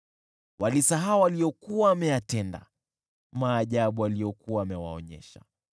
Walisahau aliyokuwa ameyatenda, maajabu aliyokuwa amewaonyesha.